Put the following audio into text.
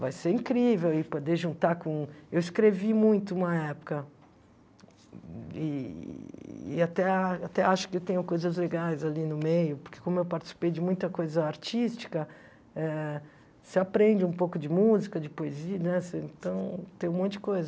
Vai ser incrível aí poder juntar com... Eu escrevi muito uma época eee até a até acho que tenho coisas legais ali no meio, porque como eu participei de muita coisa artística eh, você aprende um pouco de música, de poesia, nossa, então, tem um monte de coisa.